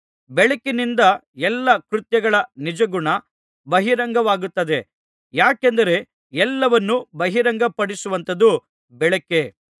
ಬೆಳಕಿನಿಂದ ಎಲ್ಲಾ ಕೃತ್ಯಗಳ ನಿಜಗುಣ ಬಹಿರಂಗವಾಗುತ್ತದೆ ಯಾಕೆಂದರೆ ಎಲ್ಲಾವನ್ನೂ ಬಹಿರಂಗಪಡಿಸುವಂಥದ್ದು ಬೆಳಕೇ